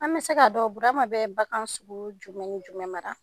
An bɛ se k'a dɔn Burama bɛ bagan sugu jumɛnw jumɛn maraa